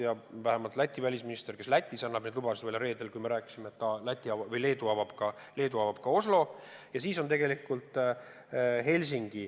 Ja Läti välisminister, kes Lätis annab neid lubasid välja – reedel ma rääkisin temaga – ütles, et ka Leedu avab Oslo ühenduse.